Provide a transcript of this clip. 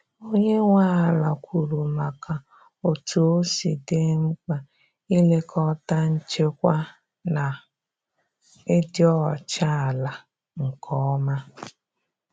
Onye nwe ala kwuru maka otú osi di mkpa ị lekọta nchekwa na ịdị ọcha ala nke ọma.